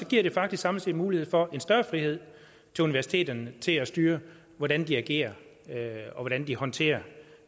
giver det faktisk samlet set mulighed for en større frihed til universiteterne til at styre hvordan de agerer og hvordan de håndterer